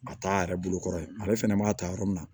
A t'a yɛrɛ bolo kɔrɔ ye ale fɛnɛ b'a ta yɔrɔ min na